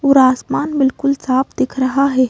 और आसमान बिल्कुल साफ दिख रहा है।